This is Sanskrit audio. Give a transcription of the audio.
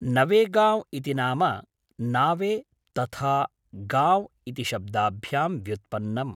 नवेगांव्' इति नाम नावे तथा गाँव् इति शब्दाभ्यां व्युत्पन्नम्।